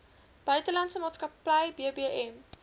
buitelandse maatskappy bbm